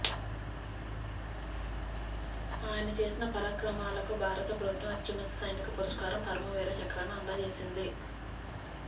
ఆయన చేసిన పరక్రమాలకు భారత ప్రభుత్వం అత్యున్నత సైనిక పురస్కారం పరమ వీర చక్ర ను అందజేసింది